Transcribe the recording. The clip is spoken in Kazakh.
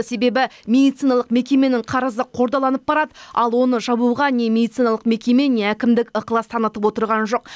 себебі медициналық мекеменің қарызы қордаланып барады ал оны жабуға не медициналық мекеме не әкімдік ықылас танытып отырған жоқ